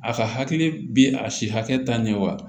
A ka hakili bi a si hakɛ ta ne wa